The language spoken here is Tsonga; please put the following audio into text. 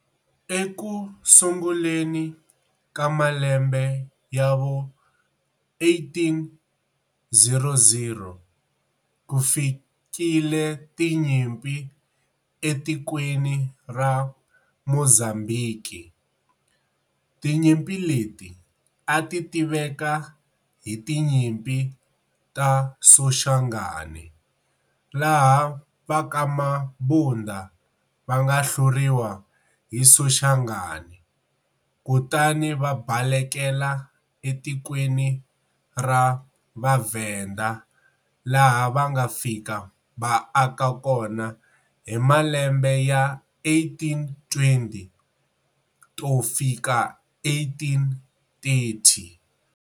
Eku sunguleni ka malembe ya vo 1800, ku fikile tinyimpi etikweni ra Mozambiki, tinyimpi leti ati tiveka hi tinyimpi ta Soshangane, laha vaka Mabunda va nga hluriwa hi Soshangane kutani va balekela etikweni ra VhaVenda laha va nga fika va aka kona hi malembe ya 1820 to fika 1830.